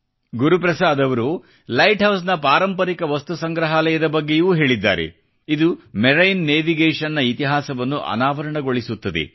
ಗುರುಪ್ರಸಾದ್ ಅವರು ಲೈಟ್ ಹೌಸ್ನ ಪಾರಂಪರಿಕ ವಸ್ತು ಸಂಗ್ರಹಾಲಯದ ಬಗ್ಗೆಯೂ ಹೇಳಿದ್ದಾರೆ ಇದು ಮರೈನ್ ನೆವಿಗೇಶನ್ನ ಇತಿಹಾಸವನ್ನು ಅನಾವರಣಗೊಳಿಸುತ್ತದೆ